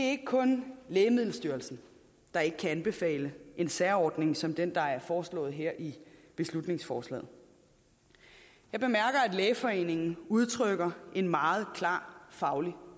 ikke kun lægemiddelstyrelsen der ikke kan anbefale en særordning som den der er foreslået her i beslutningsforslaget jeg bemærker at lægeforeningen udtrykker en meget klar faglig